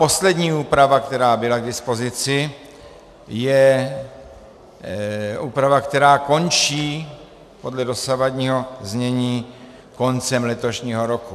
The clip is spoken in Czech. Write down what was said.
Poslední úprava, která byla k dispozici, je úprava, která končí podle dosavadního znění koncem letošního roku.